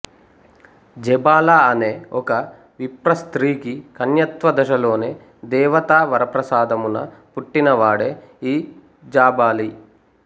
జబాల అనే ఒక విప్ర స్త్రీకి కన్యత్వ దశలోనే దేవతా వరప్రసాదమున పుట్టిన వాడే ఈ జాబాలి